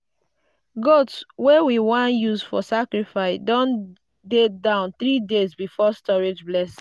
goat wey we wan use for sacrifice don dey down 3 days before storage blessing.